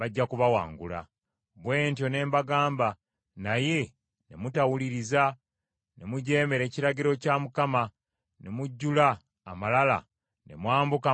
Bwe ntyo ne mbagamba, naye ne mutawuliriza, ne mujeemera ekiragiro kya Mukama , ne mujjula amalala ne mwambuka mu nsi ey’ensozi.